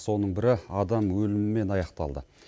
соның бірі адам өлімімен аяқталды